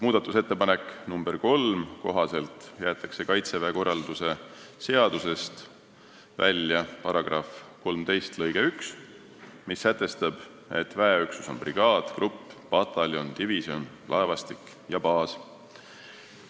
Muudatusettepaneku nr 3 kohaselt jäetakse Kaitseväe korralduse seadusest välja § 13 lõige 1, mis sätestab, et väeüksus on brigaad, grupp, pataljon, divisjon, laevastik ja baas.